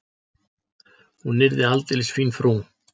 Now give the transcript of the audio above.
Hún yrði aldeilis fín frú.